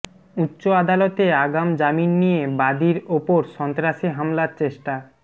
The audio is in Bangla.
উচ্চ আদালতে আগাম জামিন নিয়ে বাদীর ওপর সন্ত্রাসী হামলার চেষ্টা